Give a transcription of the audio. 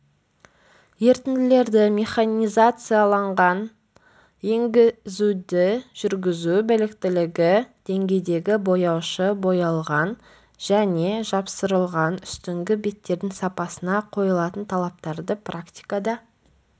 ерітінділерді механизацияланған енгізуді жүргізу біліктілігі деңгейдегі бояушы боялған және жапсырылған үстіңгі беттердің сапасына қойылатын талаптарды практикада